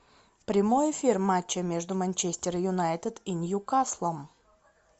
прямой эфир матча между манчестер юнайтед и ньюкаслом